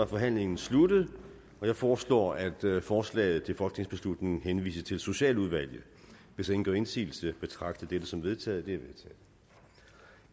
forhandlingen sluttet jeg foreslår at forslaget til folketingsbeslutning henvises til socialudvalget hvis ingen gør indsigelse betragter jeg dette som vedtaget